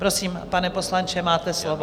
Prosím, pane poslanče, máte slovo.